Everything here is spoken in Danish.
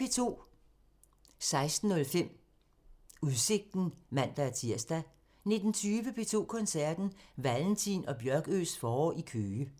16:05: Udsigten (man-tir) 19:20: P2 Koncerten – Valentin og Bjørkøes forår i Køge